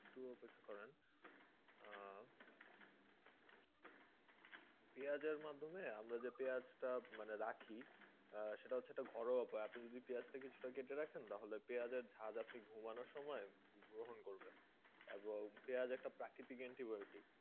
পেঁয়াজের মাধ্যমে আমরা যে পেঁয়াজ টা মানে রাখি? আহ সেটা হচ্ছে একটা ঘরোয়া উপায়। আপনি যদি পেঁয়াজ টা কিছুটা কেটে রাখেন তাহলে পেঁয়াজের ঝাঁজ আপনি ঘুমনো সময় গ্রহন করবেন এবং পেঁয়াজ একটা প্রাকৃতিক antibiotic.